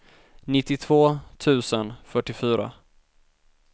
nittiotvå tusen fyrtiofyra